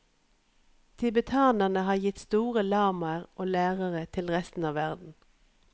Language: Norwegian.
Tibetanerne har gitt store lamaer og lærere til resten av verden.